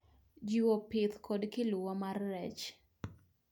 Jiwo pith kod kiluwa mar rech.